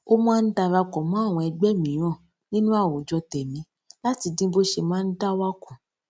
ó máa ń darapò mó àwọn ẹgbẹ mìíràn nínú àwùjọ tèmí láti dín bó ṣe máa ń dá wà kù